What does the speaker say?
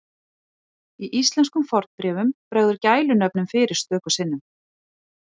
Í íslenskum fornbréfum bregður gælunöfnum fyrir stöku sinnum.